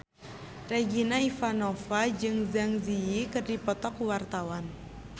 Regina Ivanova jeung Zang Zi Yi keur dipoto ku wartawan